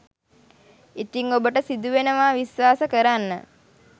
ඉතිං ඔබට සිදුවෙනවා විශ්වාස කරන්න